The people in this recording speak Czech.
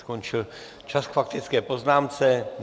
Skončil čas k faktické poznámce.